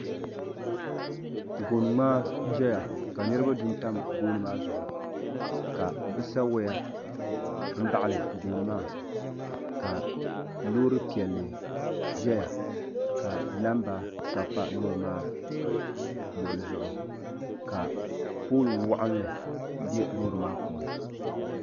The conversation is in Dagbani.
Gooni ŋmaa n zaya ka niriba duntam gooni maa zuɣu ka bɛ sa waya m baɣali gooni maa ka loori piɛlli zaya k. namba sabi pa loori maa luɣuli zuɣu ka pooli waɣinli be loori maa puuni.